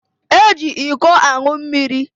Eji iko anwụ mmiri.